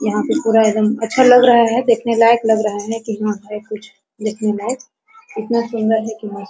यहां पे पूरा एकदम अच्छा लग रहा है देखने लायक लग रहा है कि हां है कुछ देखने लायक इतना सुंदर है कि मस्त --